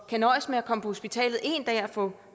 kan nøjes med at komme på hospitalet en dag og her få